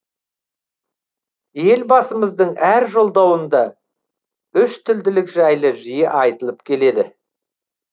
елбасымыздың әр жолдауында үштілділік жайлы жиі айтылып келеді